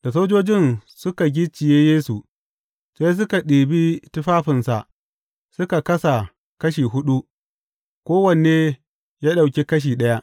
Da sojojin suka gicciye Yesu, sai suka ɗibi tufafinsa suka kasa kashi huɗu, kowanne ya ɗauki kashi ɗaya.